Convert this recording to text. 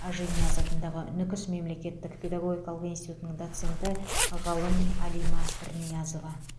ажинияз атындағы нүкіс мемлекеттік педагогикалық институтының доценті ғалым алима пірниязова